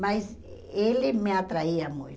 Mas ele me atraía muito.